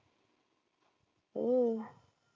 हो.